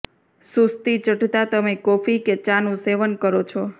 સુસ્તી ચઢતા તમે કોફી કે ચા નુ સેવન કરો છો